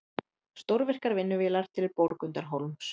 Stórvirkar vinnuvélar til Borgundarhólms